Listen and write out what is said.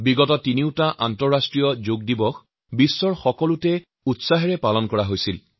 বিগত তিনিটা আন্তঃৰাষ্ট্ৰীয় যোগ দিৱসত দেশবিদেশৰ প্ৰতিটো স্থানতে সকলো লোকে অতি উৎসাহেৰে অংশগ্ৰহণ কৰিছিল